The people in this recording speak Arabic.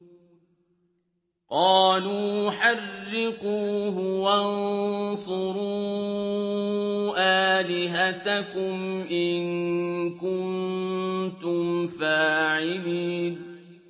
قَالُوا حَرِّقُوهُ وَانصُرُوا آلِهَتَكُمْ إِن كُنتُمْ فَاعِلِينَ